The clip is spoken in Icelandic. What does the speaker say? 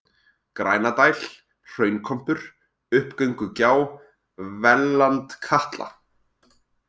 Grænadæl, Hraunkompur, Uppgöngugjá, Vellandkatla